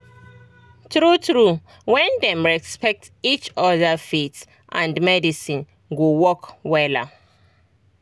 true true when dem respect each other faith and medicine go work wella